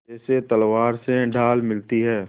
जैसे तलवार से ढाल मिलती है